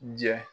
Jɛ